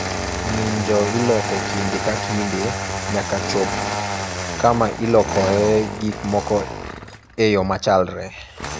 Ng'injo iloko kinde ka kinde nyaka chop kama ilokoe gik moko e yo machalre.